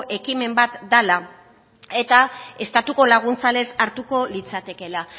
ekimena bat dela eta estatuko laguntza lez hartuko litzatekeela